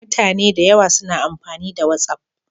Mutane da yawa suna amfani da Watsaf